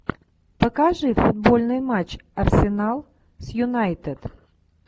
покажи футбольный матч арсенал с юнайтед